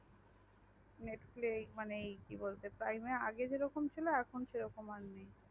netflix মানে prime এর আগে যে রকম ছিল এখন সেই রকম আর নেই।